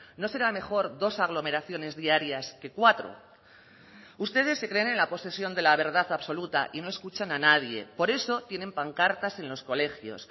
no será mejor dos aglomeraciones diarias que cuatro ustedes se creen en la posesión de la verdad absoluta y no escuchan a nadie por eso tienen pancartas en los colegios